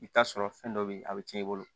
I bi taa sɔrɔ fɛn dɔ be yen a bi cɛn i bolo